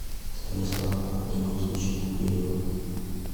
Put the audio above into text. станислава леонтьевича букреева